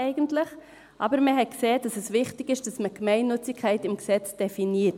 In diesem Beitrag hat man aber gesehen, dass es wichtig ist, dass man die Gemeinnützigkeit im Gesetz definiert.